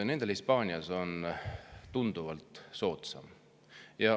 Nendel Hispaanias on tunduvalt soodsam.